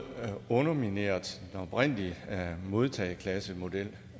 har undermineret den oprindelige modtageklassemodel